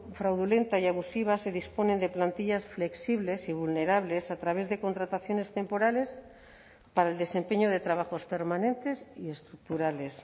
fraudulenta y abusiva se disponen de plantillas flexibles y vulnerables a través de contrataciones temporales para el desempeño de trabajos permanentes y estructurales